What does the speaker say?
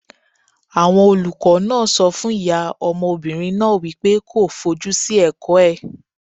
Àwọn olùkọ́ náà sọ fún ìyá ọmọbìnrin náà wípé kó fojú sí ẹ̀kọ́ ẹ̀.